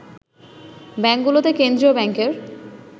ব্যাংকগুলোতে কেন্দ্রীয় ব্যাংকের